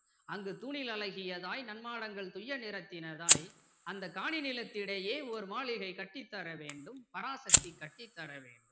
அங்கு தூணில் அழகியதாய் நன்மாடங்கள் துய்ய நிறத்தினதாய் அந்த காணி திலத்திடையே ஓர் மாளிகை கட்டித் தரவேண்டும் பராசக்தி கட்டி தர வேண்டும்